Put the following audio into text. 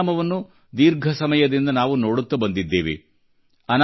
ಇದರ ಪರಿಣಾಮವನ್ನು ದೀರ್ಘ ಸಮಯದಿಂದ ನಾವು ನೋಡುತ್ತ ಬಂದಿದ್ದೇವೆ